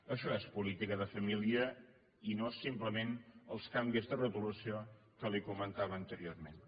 això és política de família i no simplement els canvis de retolació que li comentava anteriorment